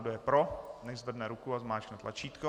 Kdo je pro, nechť zvedne ruku a zmáčkne tlačítko.